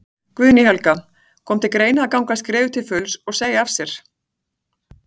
Guðný Helga: Kom til greina að ganga skrefið til fulls og, og segja af þér?